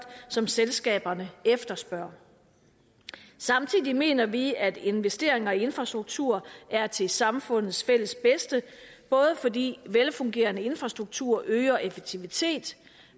som selskaberne efterspørger samtidig mener vi at investeringer i infrastruktur er til samfundets fælles bedste både fordi en velfungerende infrastruktur øger effektivitet